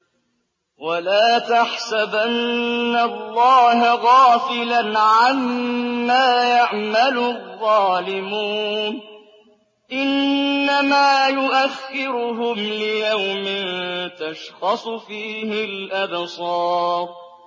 وَلَا تَحْسَبَنَّ اللَّهَ غَافِلًا عَمَّا يَعْمَلُ الظَّالِمُونَ ۚ إِنَّمَا يُؤَخِّرُهُمْ لِيَوْمٍ تَشْخَصُ فِيهِ الْأَبْصَارُ